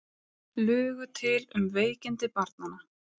Lugu til um veikindi barnanna